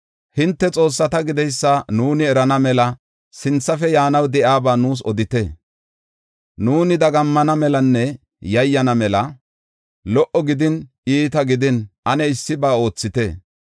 Hinte xoossata gideysa nuuni erana mela sinthafe yaanaw de7iyaba nuus odite. Nuuni dagammana melanne yayyana mela, lo77o gidin iita gidin ane issiba oothite.